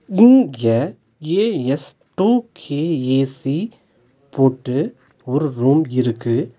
இங்க ஏ_எஸ்_டு_கே ஏசி போட்டு ஒரு ரூம் இருக்கு.